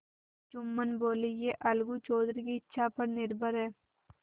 जुम्मन बोलेयह अलगू चौधरी की इच्छा पर निर्भर है